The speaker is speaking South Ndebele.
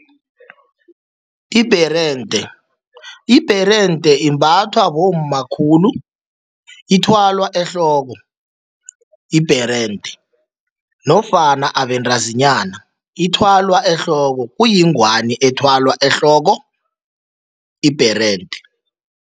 Ibherende, ibherende imbathwa bomma khulu, ithwalwa ehloko ibherende nofana abentazinyana. Ithwalwa ehloko, kuyingwani ethwalwa ehloko ibherende.